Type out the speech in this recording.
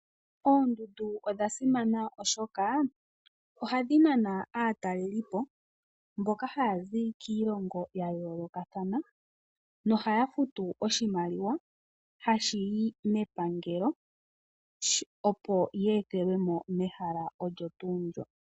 Oondundu odhasimana oshoka ohadhi nana aatalelipo, mboka haya zi kiilongo ya yoolokathana, nohaya futu oshimaliwa, hashi yi mepangelo, opo ya ethelwemo mehala olyo tuu ndjoka.